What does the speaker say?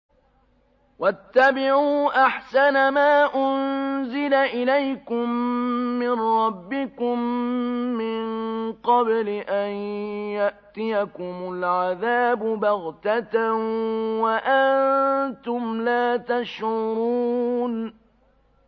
وَاتَّبِعُوا أَحْسَنَ مَا أُنزِلَ إِلَيْكُم مِّن رَّبِّكُم مِّن قَبْلِ أَن يَأْتِيَكُمُ الْعَذَابُ بَغْتَةً وَأَنتُمْ لَا تَشْعُرُونَ